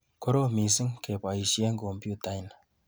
Korom missing kebaishe kompyutaini.